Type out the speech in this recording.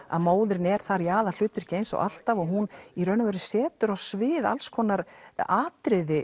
að móðirin er í aðalhlutverki eins og alltaf hún í raun og veru setur á svið alls konar atriði